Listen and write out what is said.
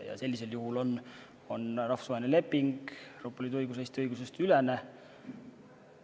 Ja sellisel juhul on rahvusvaheline leping, Euroopa Liidu õigus, Eesti õiguse ülene.